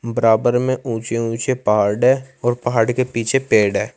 बराबर में ऊंचे ऊंचे पहाड़ है और पहाड़ के पीछे पेड़ है।